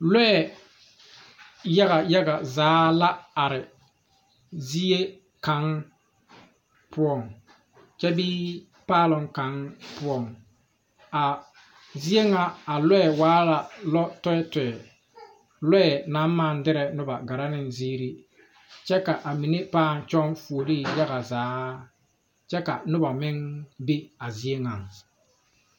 Lɔɛ yaga yaga zaa la are zie kaŋ poɔŋ kyɛ bee paaloŋ kaŋ poɔŋ a zie ŋa a lɔɛ waa la lɔ tɔɛtɔɛ lɔɛ naŋ maŋ dirɛ nobɔ gɛrɛ neŋ zeere kyɛ ka a mine pãã kyɔŋ fuolee yaga zaa kyɛ ka nobɔ meŋ be a zie ŋaŋ.